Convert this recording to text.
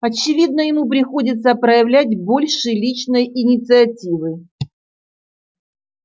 очевидно ему приходится проявлять больше личной инициативы